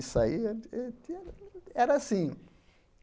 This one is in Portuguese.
E saía... E tinha era assim.